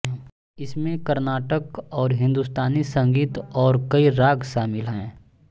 इसमें कर्नाटक और हिन्दुस्तानी संगीत और कई राग शामिल हैं